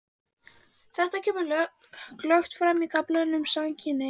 Þetta kemur glöggt fram í kaflanum um samkynhneigð.